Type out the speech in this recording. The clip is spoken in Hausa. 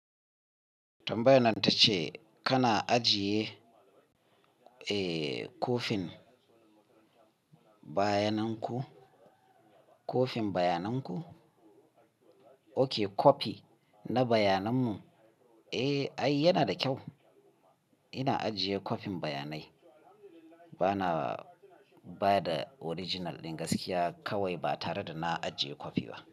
Tambayan nan ta ce kana ajiye, eh, kofin bayananku, kofin bayananku? Oke kopi na bayananmu? Eh, ai yana da kyau. Ina ajiye kofin bayanai. Bana ba da original din gaskiya kawai ba tare da na ajiye kopi ba.